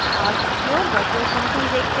अब pure virtual function देखते हैं